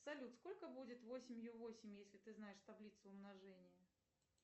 салют сколько будет восемью восемь если ты знаешь таблицу умножения